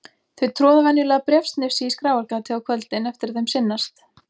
Þau troða venjulega bréfsnifsi í skráargatið á kvöldin eftir að þeim sinnast.